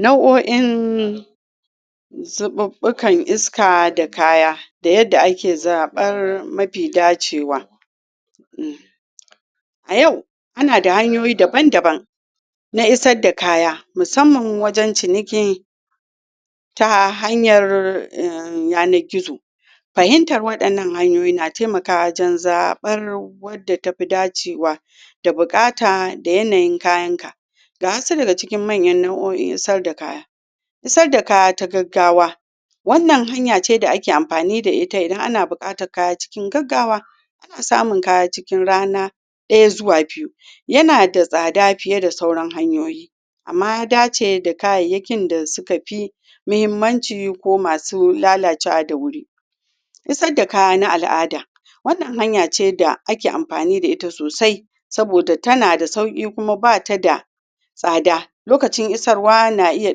nau'o'in zubabakan iska da kaya da yadda ake zabar mafi dacewa um a yau ana da hanyoyi daban daban naisar da kaya musamman na wajen ciniki ta hanyar umyana kitso fahimtar wadannan hanyoyi na taimakawa wajen zabar wadda ta fi dacewa da bukata da yanayin kayan ka ga hassada da cikin manyan nauo'i'n sayar da kaya sayar da kaya ta gaggawa wannan hanya ce da ake amfani da ita idan ana bukatan kaya cikin gaggawa ana samun kaya cikin rana daya zuwa biyu yana da sada fiye da sauran hanyoyi amma ya dace da kayayakin da suka fi muhimmanci ko masu lalacewa da wuri issa da kaya na al'ada wannan hanya ce da ake amfani da ita sosai soboda ta na da sauki kuma ba ta da sada lokacin issarwa na iya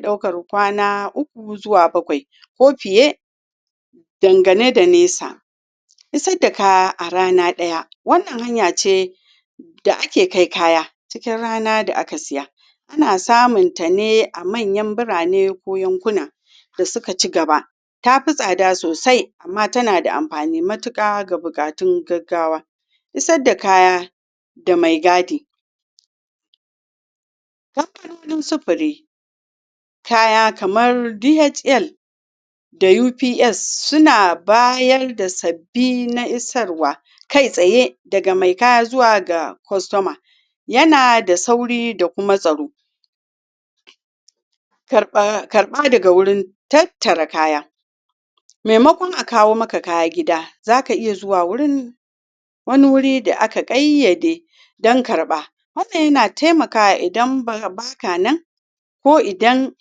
daukar kwana uku zuwa bakwai ko fiye dangane da nesa issa da kaya a rana daya wannan hanya ce da ake kai kaya cikin rana da aka siya ana samun ta ne a manyan birane ko yankuna da suka ci gaba ta fi sada sosai amma ta na da amfani matuka da bukatun gaggawa issa da kaya da mai guardi supari kaya kamar DHL da UPS suna bayar da sabi na issarwa kai tsaye daga mai kaya zuwa ga customer, yana da sauri da kuma tsaro karba daga wurin tattara kaya maimako a kawo maka kaya gida za ka iya zuwa wurin wani wuri da aka kai yade dan karba wannan yana taimaka idan ba ka nan ko idan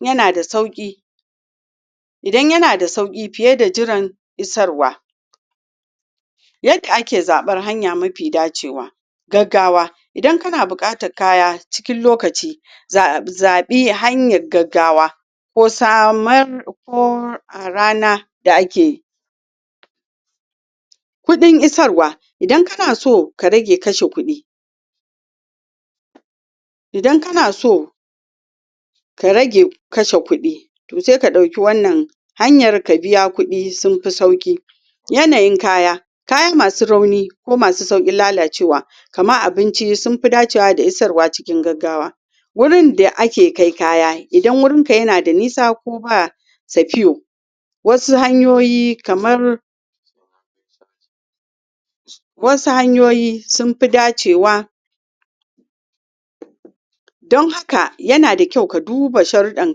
yana da sauki idan yana da sauki fiye da jiran issarwa yadda ake zabar hanya mafi dacewa gaggawa idan kana bukatar kaya cikin lokaci zbi hanyar gaggawa ko samar ko a rana da ake yi kudin issawar idan ka na so ka rage kashe kudi idan kana so ka rage kashe kudi toh sai ka dauki hanyar ka biya kudi sun fi sauki yanayin kaya kayamasu rauni ko masu saurin lalacewa kamar abinci sun fi dacewa da issawar cikin gaggawa wurin da ake kai kaya idan wurin ka yana da nisa ko ba safiu wasu hanyoyi kamar wasu hanyoyi sun fi dacewa dan haka yana da kyau ka duba shardan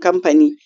kampani